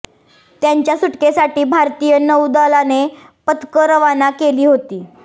त्यांच्या सुटकेसाठी भारतीय नौदलाने पथकं रवाना केली होती